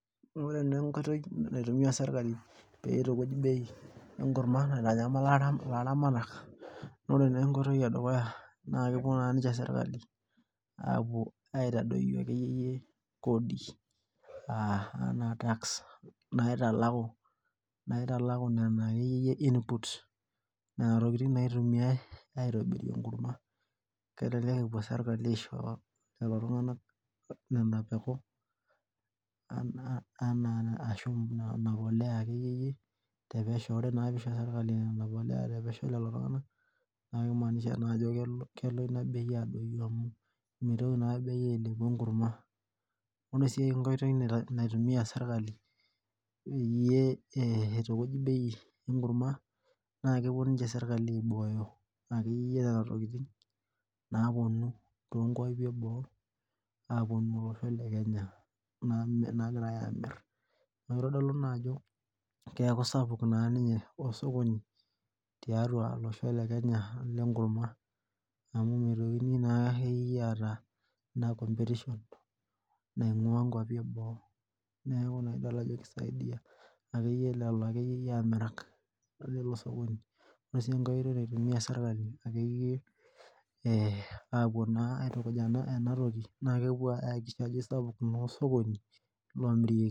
Ore naa enkoitoi naitumiya serkali peitukuj bei enkurma naitanyamala ilaramatak ore naa enkoitoi edukuya naa kepuo naa ninche serkali aapuo aitadoyio akeyie kodi aaa enaa tax naitalaku nena akeyie input nena tokitin naitumiyai aitobirie enkurma kelelek epuo sirkali aisho lelo tung'anak nena peku enaa ashua ina polea akeyie tepesho ore naa ekeyie peisho serkali nena poleya tepesho naa keimanisha naa ajo kelo ina bei adoyio amu meitoki naa bei ailepu enkurma ore sii sii ae oitoi naitumiya serkali peyie eitukuj bei enkurma naa kepuo ninche serkali aibooyo akeyie nena tokitin naapuonu toonkuapi eboo aapuonu olosho le kenya naagirai aamir neeku keitodolu ajo keeku sapuk ninye osokoni tiatua olosho lekenya lenkurma amu meitoki naa akeyie aata ina competition naing'ua inkuapi eboo neeku idolita ajo ekisaidia akeyie lelo akeyie amirak leilo sokoni ore sii enake oitoi naitumiya serkali akeyie aapuo naa aitukuj ena toki naa kepuo enkai. Sapuk ilo sokoni lomirieki.